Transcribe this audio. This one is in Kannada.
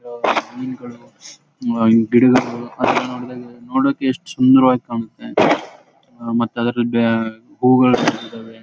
ಮೀನುಗಳು ಗಿಡಗಳು ನೋಡಕ್ಕೆ ಎಷ್ಟು ಸುಂದರವಾಗಿ ಕಾಣುತ್ವೆ ಮತ್ತೆ ಅದರಲ್ಲಿ ಬೇ ಹೂಗಳು ಇದಾವೆ.